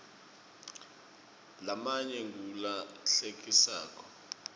lamanye ngula hlekisako